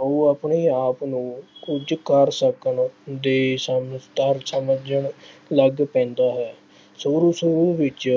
ਉਹ ਆਪਣੇ ਆਪ ਨੂੰ ਕੁੱਝ ਕਰ ਸਕਣ ਦੇ ਸਮਰੱਥ ਸਮਝਣ ਲੱਗ ਪੈਂਦਾ ਹੈ। ਸ਼ੁਰੂ ਸ਼ੁਰੂ ਵਿੱਚ